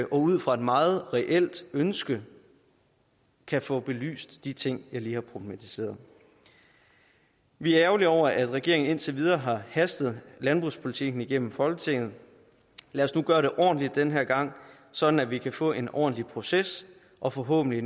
og ud fra et meget reelt ønske kan få belyst de ting jeg lige har problematiseret vi er ærgerlige over at regeringen indtil videre har hastet landbrugspolitikken igennem i folketinget lad os nu gøre det ordentligt den her gang sådan at vi kan få en ordentlig proces og forhåbentlig